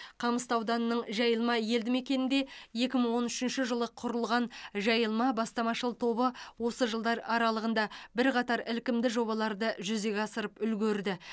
қамысты ауданының жайылма елді мекенінде екі мың он үшінші жылы құрылған жайылма бастамашыл тобы осы жылдар аралығында бірқатар ілкімді жобаларды жүзеге асырып үлгерді